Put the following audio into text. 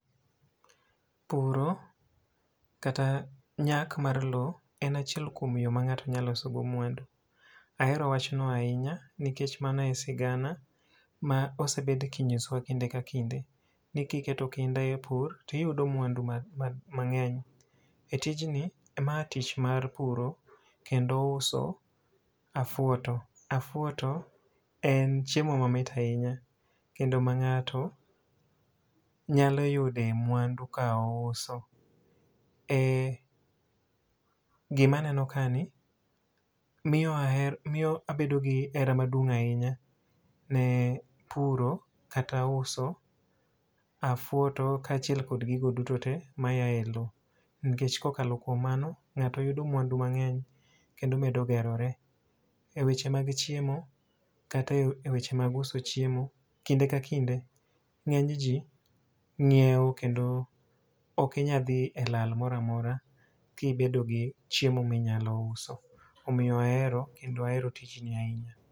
Puro kata nyak mar lo en achiel kuom yo ma ng'ato nya loso go mwandu. Ahero wachno ahinya nikech mano e sigana ma osebed kinyosowa kinde ka kinde. Ni kiketo kinda e pur, tiyudo mwandu ma mang'eny. E tijni, ma tich mar puro kendo uso afuoto. Afuoto en chiemo ma mit ahinya, kendo ma ng'ato nyalo yude mwando ka ouso. E gima neno ka ni, miyo aher miyo abedo gi hera maduong' ahinya ne puro kata uso afuoto kaachiel kod gigo duto te maya e lo. Nikech kokalo kuom mano, ng'ato yudo mwandu mang'eny kendo medo gerore. E weche mag chiemo, kata e weche mag uso chiemo kinde ka kinde ng'eny ji ng'iewo. Kendo okinya dhi e lal mora mora kibedo gi chiemo minyalo uso. Omiyo ahero kendo ahero tijni ahinya.